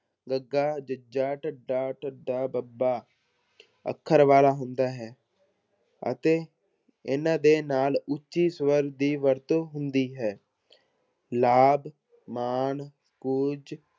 ਗੱਗਾ, ਜੱਜਾ, ਡੱਡਾ, ਢੱਡਾ, ਬੱਬਾ ਅੱਖਰ ਵਾਲਾ ਹੁੰਦਾ ਹੈ ਅਤੇ ਇਹਨਾਂ ਦੇ ਨਾਲ ਉੱਚੀ ਸਵਰ ਦੀ ਵਰਤੋਂ ਹੁੰਦੀ ਹੈ ਮਾਣ, ਕੁੱਝ